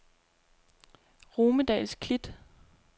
Romedahls Klit